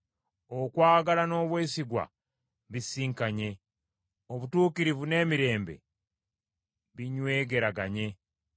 Okwagala n’obwesigwa bisisinkanye; obutuukirivu n’emirembe binywegeraganye.